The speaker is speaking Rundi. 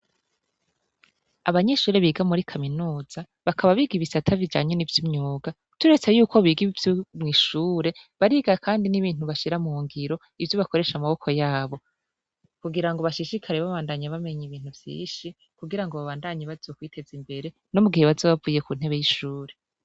Abanyeshure biga muri kaminuza bakaba biga i bisata bijanye ni vy’imyuga. Turetse yuko biga ivyo mw’ishure bariga kandi n’ibintu bashira mu ngiro, ivyo bakoresha amaboko yabo kugira bashishikare. Babandanye bamenye ibintu vyinshi, kugira babandanye bazokwiteza imbere no mu gihe bazoba bavuye no ku ntebe y’ishure.